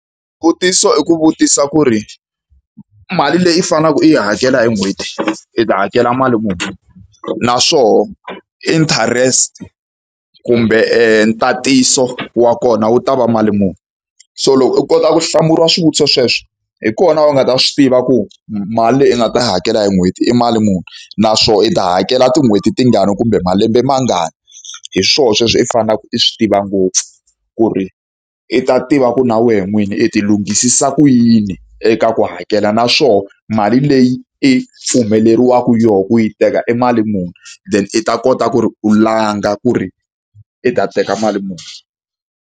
Xivutiso i ku vutisa ku ri, mali leyi u faneleke u yi hakela hi n'hweti i ta hakela mali muni? Naswona interest kumbe ntatiso wa kona wu ta va mali muni? So loko u kota ku hlamuriwa swivutiso sweswo, hi kona u nga ta swi tiva ku mali leyi u nga ta yi hakela hi n'hweti i mali muni, naswona i ta hakela tin'hweti tingani kumbe malembe mangani. Hi swoho sweswo i faneleke i swi tiva ngopfu, ku ri i ta tiva ku na wena n'wini i ti lunghisisa ku yini eka ku hakela. Naswona mali leyi i pfumeleriwaka yona ku yi teka i mali muni, then i ta kota ku ri u langa ku ri i ta teka mali muni.